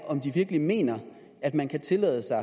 om de virkelig mener at man kan tillade sig